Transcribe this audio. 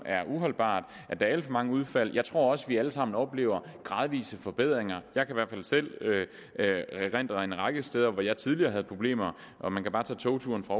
er uholdbart at der er alt for mange udfald men jeg tror også vi alle sammen oplever gradvise forbedringer jeg kan i hvert fald selv erindre en række steder hvor jeg tidligere havde problemer og man kan bare tage togturen fra